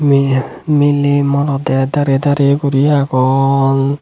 yea meley morodey darey darey guri agon.